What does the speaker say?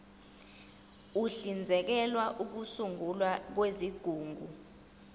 uhlinzekela ukusungulwa kwezigungu